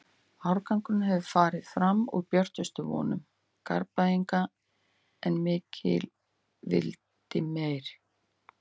Árangurinn hefur farið fram úr björtustu vonum Garðbæinga en mikill vill meira.